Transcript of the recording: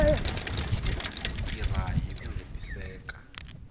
ku tirha hi ku hetiseka